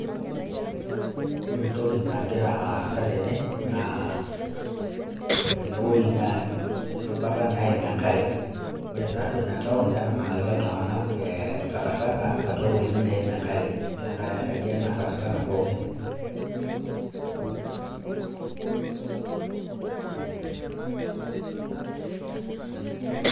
Ore entoki nagira aasa tene naa ore ene wueji naa erubata naim Enk'are ore ene wueji netanang'akitia iltung'anak taka taka atwa ewujitin neim enk'are nelo enk'are airragie ena taka taka pookin